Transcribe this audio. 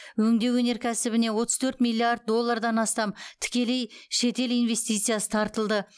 өңдеу өнеркәсібіне отыз төрт миллиард доллардан астам тікелей шетел инвестициясы тартылды